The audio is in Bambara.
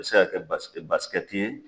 A bɛ se ka kɛ bas basikɛti ye.